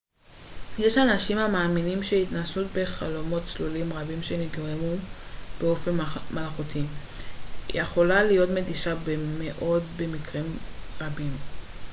יש אנשים המאמינים שהתנסות בחלומות צלולים רבים שנגרמו באופן מלאכותי יכולה להיות מתישה מאוד במקרים רבים